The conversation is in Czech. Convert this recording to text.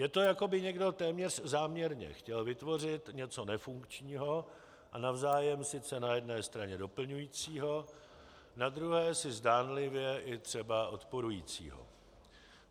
Je to, jako by někdo téměř záměrně chtěl vytvořit něco nefunkčního a navzájem sice na jedné straně doplňujícího, na druhé si zdánlivě i třeba odporujícího.